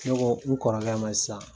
Ne ko n kɔrɔkɛ ma sisan.